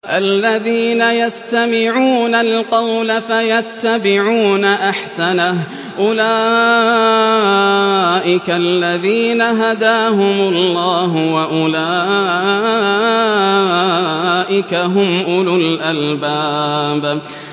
الَّذِينَ يَسْتَمِعُونَ الْقَوْلَ فَيَتَّبِعُونَ أَحْسَنَهُ ۚ أُولَٰئِكَ الَّذِينَ هَدَاهُمُ اللَّهُ ۖ وَأُولَٰئِكَ هُمْ أُولُو الْأَلْبَابِ